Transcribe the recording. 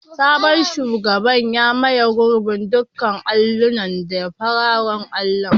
Sabon shugaban ya maye gurbin dukkan allunan da fararen allo.